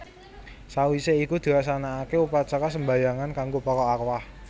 Sawisé iku dilaksanaake upacara sembahyangan kanggo para arwah